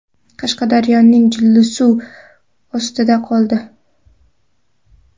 Qashqadaryoning Jillisuvi suv ostida qoldi .